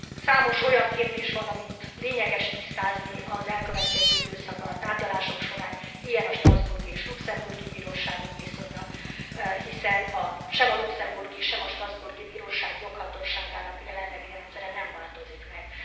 Számos olyan kérdés van, amit lényeges tisztázni az elkövetkező időszakban a tárgyalások során, ilyen a strasbourgi és luxembourgi bíróságok viszonya, hiszen sem a luxembourgi, sem a strasbourgi bíróság joghatóságának jelenlegi rendszere nem változik meg.